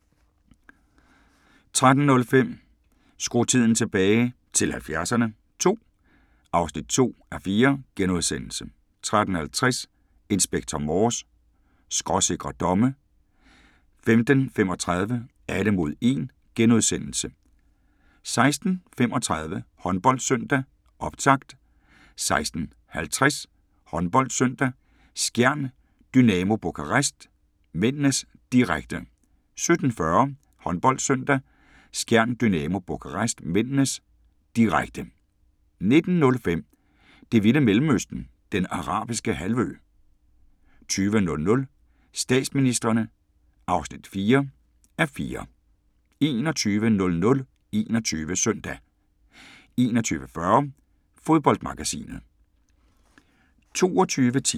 13:05: Skru tiden tilbage – til 70'erne II (2:4)* 13:50: Inspector Morse: Skråsikre domme 15:35: Alle mod 1 * 16:35: HåndboldSøndag: Optakt 16:50: HåndboldSøndag: Skjern-Dynamo Bukarest (m), direkte 17:40: HåndboldSøndag: Skjern-Dynamo Bukarest (m), direkte 19:05: Det vilde Mellemøsten – Den Arabiske Halvø 20:00: Statsministrene (4:4) 21:00: 21 Søndag 21:40: Fodboldmagasinet